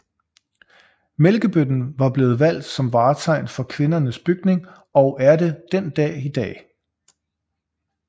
Mælkebøtten var blevet valgt som vartegn for Kvindernes Bygning og er det den dag i dag